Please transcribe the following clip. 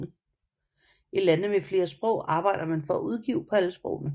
I lande med flere sprog arbejder man for at udgive på alle sprogene